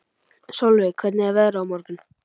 Solveig, hvernig er veðrið á morgun?